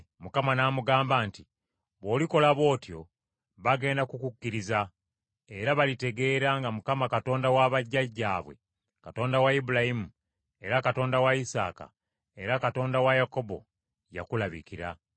Mukama n’amugamba nti, “Bw’olikola bw’otyo bagenda kukukkiriza, era balitegeera nga Mukama Katonda wa bajjajjaabwe, Katonda wa Ibulayimu, era Katonda wa Isaaka, era Katonda wa Yakobo, yakulabikira.”